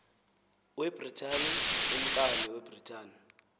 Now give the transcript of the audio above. webritani umkani webritani